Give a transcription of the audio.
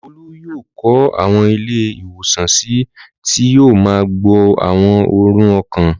Olú yóò kọ́ àwọn ilé-ìwòsàn sí i tí yóò máa gbọ̀ àwọn àrùn ọkàn.